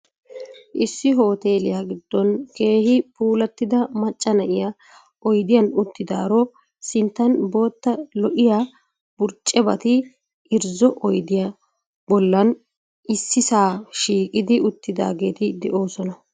Issi hoteelliya giddon keehi puulattida macca na'iya oydiyan uttidaaro sinttan bootta lo'iya burccebati irzzo oydiya bollan issisaa shiiqidi uttaageeti de'oosona.